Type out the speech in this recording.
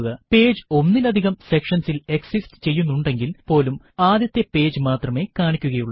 page ഒന്നിലധികം sections ഇൽ exist ചെയ്യുന്നുണ്ടെങ്കിൽ പോലും ആദ്യത്തെ പേജ് മാത്രമേ കാണിക്കുക ഉള്ളൂ